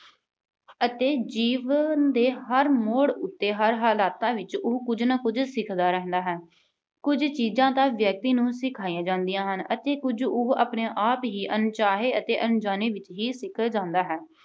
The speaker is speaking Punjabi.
ਅਤੇ ਜੀਵਨ ਦੇ ਹਰ ਮੋੜ ਉੱਤੇ, ਹਰ ਹਾਲਾਤਾਂ ਵਿੱਚ ਉਹ ਕੁਝ ਨਾ ਕੁਝ ਸਿੱਖਦਾ ਰਹਿੰਦਾ ਹੈ। ਕੁਝ ਚੀਜ਼ਾਂ ਤਾਂ ਵਿਅਕਤੀ ਨੂੰ ਸਿਖਾਈਆਂ ਜਾਂਦੀਆਂ ਹਨ ਅਤੇ ਕੁਝ ਉਹ ਆਪਣੇ ਆਪ ਹੀ ਅਣਚਾਹੇ ਅਤੇ ਅਣਜਾਣੇ ਵਿੱਚ ਸਿੱਖ ਜਾਂਦਾ ਹੈ।